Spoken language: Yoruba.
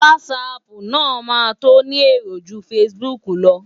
Whatsapp náà máa tó ni èrò ju Facebook lọ.